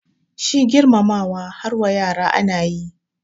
Shi girmamawa har wa yara ana yi